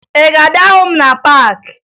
Ị ga-abịa hụ m na paakị?